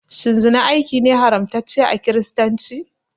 Shin zina aiki ne haramtacce a kiristanci?